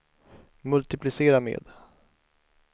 multiplicera med